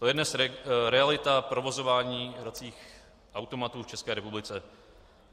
To je dnes realita provozování hracích automatů v České republice.